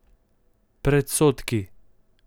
Predsodki.